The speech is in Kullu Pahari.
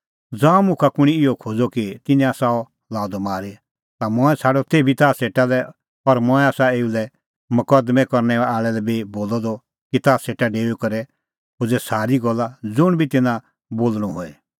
ज़ांऊं मुखा कुंणी इहअ खोज़अ कि तिन्नैं आसा अह लाअ द मारी ता मंऐं छ़ाडअ तेभी अह ताह सेटा लै और मंऐं आसा एऊ लै मकदमैं करनै आल़ै लै बी बोलअ द कि ताह सेटा डेऊई करै खोज़ै सारी गल्ला ज़ुंण बी तिन्नां बोल़णअ होए